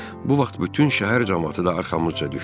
Bu vaxt bütün şəhər camaatı da arxamızca düşdü.